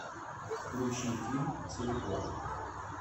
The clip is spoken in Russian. включи фильм телепорт